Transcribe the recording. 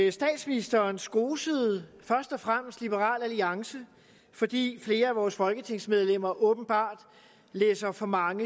at statsministeren skosede først og fremmest liberal alliance fordi flere af vores folketingsmedlemmer åbenbart læser for mange